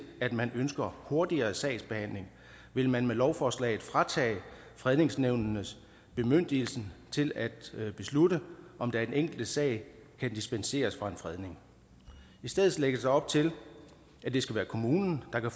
at man ønsker hurtigere sagsbehandling vil man med lovforslaget fratage fredningsnævnene bemyndigelsen til at beslutte om der i den enkelte sag kan dispensere fra en fredning i stedet lægges der op til at det skal være kommunen der kan